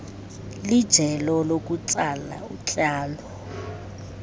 lijelo lokutsala utyalo